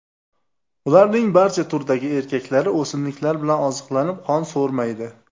Ularning barcha turdagi erkaklari o‘simliklar bilan oziqlanib, qon so‘rmaydi.